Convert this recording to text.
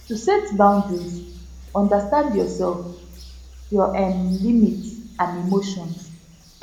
to set boundries understand your self your um limits and emotions